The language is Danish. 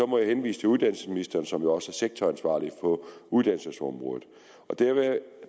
må jeg henvise til uddannelsesministeren som jo er sektoransvarlig på uddannelsesområdet